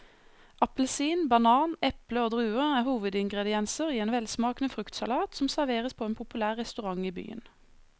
Appelsin, banan, eple og druer er hovedingredienser i en velsmakende fruktsalat som serveres på en populær restaurant i byen.